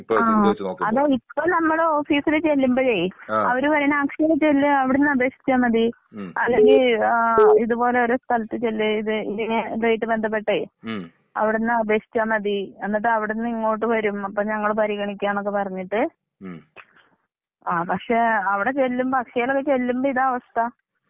ആ അത് ഇപ്പോ ഞമ്മള് ഓഫീസിൽ ചെല്ലുംമ്പഴ് അവര് പറേണത് അക്ഷയിൽ ചെല്ല് അവിടുന്നു അപേക്ഷിച്ചാൽ മതി, അല്ലെങ്കിൽ ഇത് പോലെ ഓരോ സ്ഥലത്തു ചെല്ല് ഇത് ഇങ്ങനെ ഇതുമായിട്ട് ബന്ധപ്പെട്ടേ അവിടുന്ന് അപേക്ഷിച്ചാൽ മതി എന്നിട്ടവിടുന്നിങ്ങോട്ട് വരും അപ്പൊ ഞങ്ങള് പരിഗണിക്കാന്നൊക്കെ പറഞ്ഞിട്ട് ആ, പക്ഷേ അവടെ ചെല്ലുംമ്പോ അക്ഷയീലൊക്കെ ചെല്ലുംമ്പൊ ഇതാ അവസ്ഥ.